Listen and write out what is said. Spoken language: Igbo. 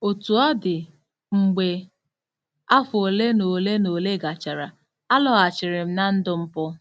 Otú ọ dị, mgbe afọ ole na ole na ole gachara, alọghachiri m ná ndụ mpụ.